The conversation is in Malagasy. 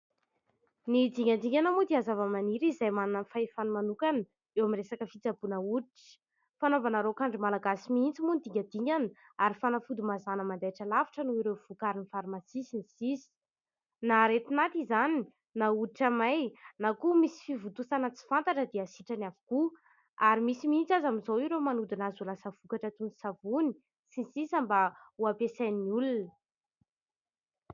Ny dingadingana moa dia zava-maniry izay manana ny fahefany manokana eo amin'ny resaka fitsaboana hoditra, fanaovana raok'andro malagasy mihintsy moa ny dingadingana ary fanafody mazàna mandaitra lavitra noho ireo vokarin'ny farmasia sy ny sisa, na aretin'aty izany na hoditra may na koa misy fivontosana tsy fantatra dia sitrany avokoa ary misy mihitsy aza amin'izao ireo manodina azy ho lasa vokatra toy ny savony sy ny sisa mba ho ampiasain'ny olona.